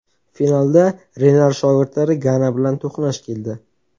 Finalda Renar shogirdlari Gana bilan to‘qnash keldi.